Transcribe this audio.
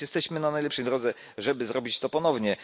Jesteśmy więc na najlepszej drodze, żeby zrobić to ponownie.